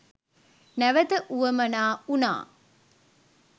නැවත වුවමනා වුණා.